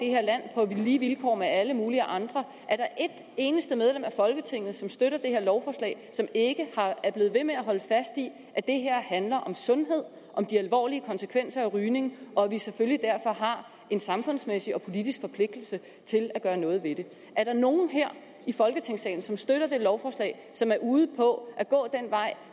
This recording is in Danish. her land på lige vilkår med alle mulige andre er der et eneste medlem af folketinget som støtter det her lovforslag som ikke er blevet ved med at holde fast i at det her handler om sundhed om de alvorlige konsekvenser af rygning og at vi selvfølgelig derfor har en samfundsmæssig og politisk forpligtelse til at gøre noget ved det er der nogen her i folketingssalen som støtter det lovforslag som er ude på at gå den vej